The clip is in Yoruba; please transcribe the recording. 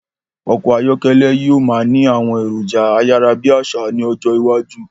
Ọkọ̀ ayọ́kẹ́lẹ̀ yí o máa ni àwọn èròjà ayárábiàsà ni ọjọ́ iwájú